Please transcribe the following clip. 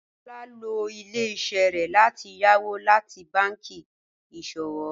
Lọ́lá lọ ilẹ̀-iṣẹ rẹ láti yàwó láti bànki iṣọwọ